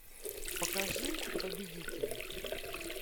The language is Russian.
покажи победители